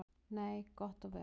Nei, gott og vel.